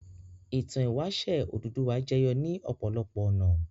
Ìtàn ìwáṣẹ̀ Odùduwà jẹyọ ní ọ̀pọ̀lọpọ̀ ọ̀nà.